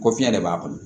Ko fiɲɛ de b'a kɔnɔ